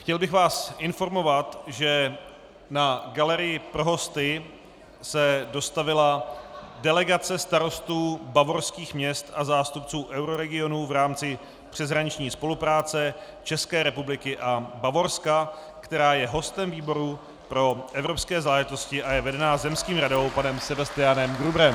Chtěl bych vás informovat, že na galerii pro hosty se dostavila delegace starostů bavorských měst a zástupců euroregionu v rámci přeshraniční spolupráce České republiky a Bavorska, která je hostem výboru pro evropské záležitosti a je vedena zemským radou panem Sebastianem Gruberem.